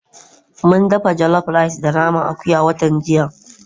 Mun dafa jollof rice da naman akuya watan jiya.